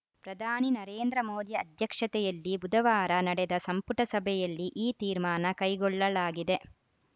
ಪ್ರಧಾನಿ ನರೇಂದ್ರ ಮೋದಿ ಅಧ್ಯಕ್ಷತೆಯಲ್ಲಿ ಬುಧವಾರ ನಡೆದ ಸಂಪುಟ ಸಭೆಯಲ್ಲಿ ಈ ತೀರ್ಮಾನ ಕೈಗೊಳ್ಳಲಾಗಿದೆ